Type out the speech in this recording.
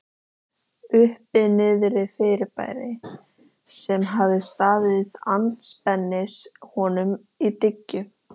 Uppi-Niðri-fyrirbæri, sem hafði staðið andspænis honum í dyngju